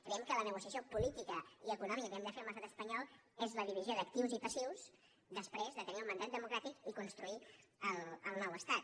creiem que la negociació política i econòmica que hem de fer amb l’estat espanyol és la divisió d’ac·tius i passius després de tenir el mandat democràtic i construir el nou estat